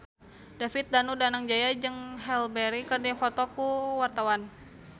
David Danu Danangjaya jeung Halle Berry keur dipoto ku wartawan